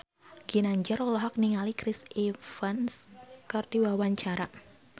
Ginanjar olohok ningali Chris Evans keur diwawancara